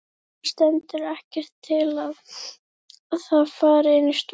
Það stendur ekkert til að það fari inn í stofu.